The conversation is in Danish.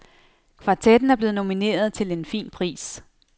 Kvartetten er blevet nomineret til en fin pris.